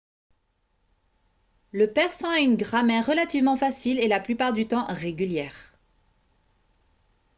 le persan a une grammaire relativement facile et la plupart du temps régulière